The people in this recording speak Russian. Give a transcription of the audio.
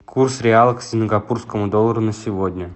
курс реала к сингапурскому доллару на сегодня